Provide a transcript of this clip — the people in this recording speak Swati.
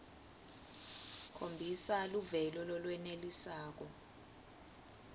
khombisa luvelo lolwenelisako